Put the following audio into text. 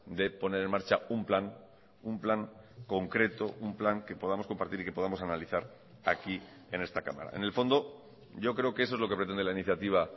de poner en marcha un plan un plan concreto un plan que podamos compartir y que podamos analizar aquí en esta cámara en el fondo yo creo que eso es lo que pretende la iniciativa